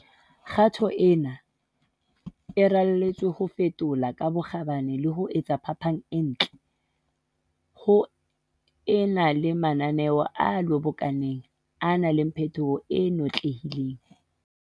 Kgato ena e raletswe ho fetola ka bokgabane le ho etsa phapang e ntle, ho e na le mananeo a lobokaneng a nang le phetoho e notlehileng.